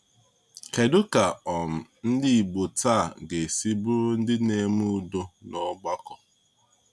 Kedu ka um ndị Igbo taa ga-esi bụrụ ndị na-eme udo n’ọgbakọ?